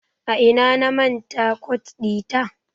A ina na manta kot ɗita?